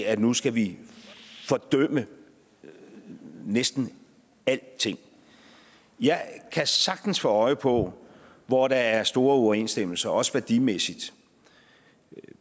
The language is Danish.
at nu skal vi fordømme næsten alting jeg kan sagtens få øje på hvor der er store uoverensstemmelser også værdimæssigt